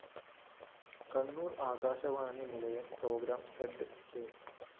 കണ്ണൂര്‍ ആകാശവാണി നിലയം programme head K